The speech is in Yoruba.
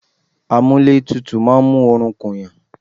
Àmúlétuntun máa ń mú oorun ku ènìyàn